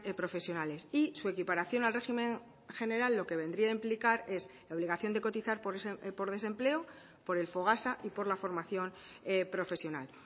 profesionales y su equiparación al régimen general lo que vendría a implicar es la obligación de cotizar por desempleo por el fogasa y por la formación profesional